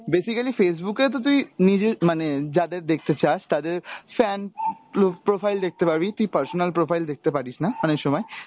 basically Facebook এ তো তুই নিজেই মানে যাদের দেখতে চাস তাদের fan প্লো~ profile দেখতে পারবি, তুই personal profile দেখতে পারিস না অনেক সময়,